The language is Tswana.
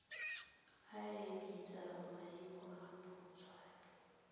a abetswe maemo a botshabi